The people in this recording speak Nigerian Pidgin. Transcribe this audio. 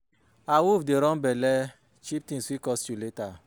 Awoof no dey run bella, cheep things fit cost you later